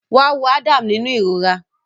Wá wo Adam nínú ìrora